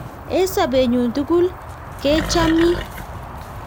Eng' sobennyo tukul ke chamin